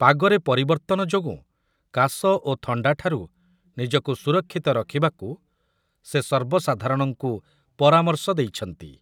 ପାଗରେ ପରିବର୍ତ୍ତନ ଯୋଗୁଁ କାଶ ଓ ଥଣ୍ଡାଠାରୁ ନିଜକୁ ସୁରକ୍ଷିତ ରଖିବାକୁ ସେ ସର୍ବସାଧାରଣଙ୍କୁ ପରାମର୍ଶ ଦେଇଛନ୍ତି ।